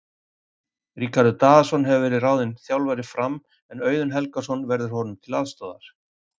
Ríkharður Daðason hefur verið ráðinn þjálfari Fram en Auðun Helgason verður honum til aðstoðar.